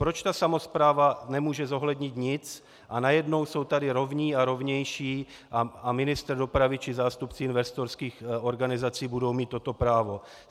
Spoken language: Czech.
Proč ta samospráva nemůže zohlednit nic a najednou jsou tady rovní a rovnější a ministr dopravy či zástupci investorských organizací budou mít toto právo?